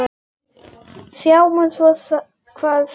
Sjáum svo hvað þeir gera.